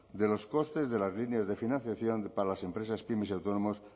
de los costes de las líneas de financiación para las empresas pyme y autónomos